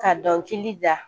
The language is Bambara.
Ka dɔnkili da